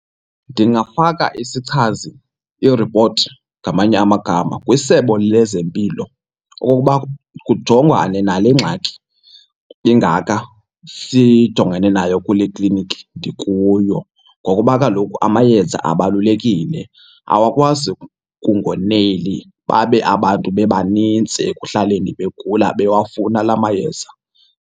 Ndingafaka isichazi, iripoti ngamanye amagama, kwiSebe lezeMpilo okokuba kujongwane nale ngxaki ingaka sijongene nayo kule kliniki ndikuyo ngokuba kaloku amayeza abalulekile. Awakwazi kungoneli babe abantu bebanintsi ekuhlaleni begula, bewufuna la mayeza.